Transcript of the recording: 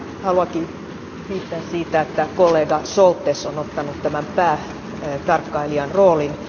Haluankin kiittää siitä, että kollega Šoltes on ottanut tämän päätarkkailijan roolin.